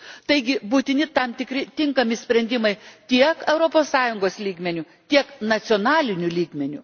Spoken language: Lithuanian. Taigi būtini tam tikri tinkami sprendimai tiek Europos Sąjungos lygmeniu, tiek nacionaliniu lygmeniu.